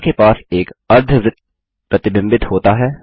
रेखा के पास एक अर्धवृत्त प्रतिबिंबित होता है